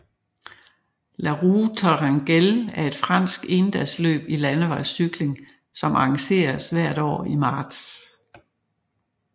La Roue Tourangelle er et fransk endagsløb i landevejscykling som arrangeres hvert år i marts